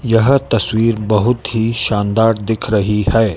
यह तस्वीर बहुत ही शानदार दिख रही है।